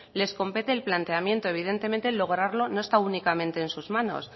les compete el planteamiento evidentemente lograrlo no está únicamente en sus manos